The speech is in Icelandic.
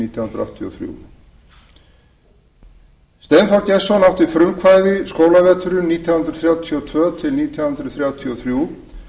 nítján hundruð áttatíu og þrjú steinþór gestsson átti frumkvæði skólaveturinn nítján hundruð þrjátíu og tvö til nítján hundruð þrjátíu og þrjú